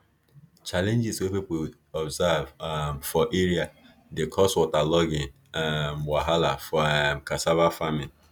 challenges wey people observe um for area dey cause waterlogging um wahala for um cassava farming